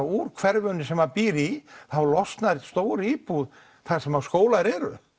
úr hverfinu sem þau búa í þá losnar stór íbúð þar sem skólar eru